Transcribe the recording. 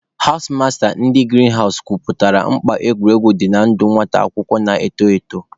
Hawụs masta ndị girin hawụs kọwapụtara mkpa egwuregwu dị na ndụ nwata akwụkwọ na-eto eto.